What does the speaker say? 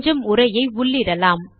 கொஞ்சம் உரையை உள்ளிடலாம்